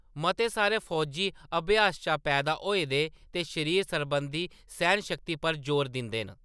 मते सारे फौजी अभ्यास शा पैदा होए हे ते शरीर सरबंधी सैह्‌नशक्ति पर जोर दिंदे हे।